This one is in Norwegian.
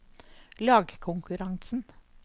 lagkonkurransen